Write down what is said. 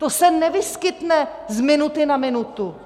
To se nevyskytne z minuty na minutu!